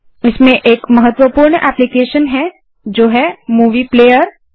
इसमें एक महत्त्वपूर्ण एप्लीकेशन है जो है मूवी प्लेयर